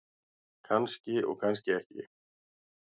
Kannski og kannski ekki.